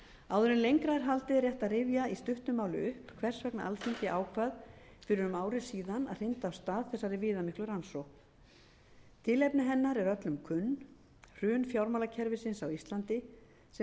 en lengra er haldið er rétt að rifja í stuttu máli upp hvers vegna alþingi ákvað fyrir um ári síðan að hrinda af stað þessari viðamiklu rannsókn tilefni hennar er öllum kunn hrun fjármálakerfisins á íslandi sem leiddi